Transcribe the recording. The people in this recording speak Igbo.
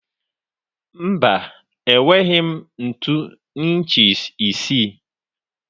Mba, enweghị m ntu inchi isii.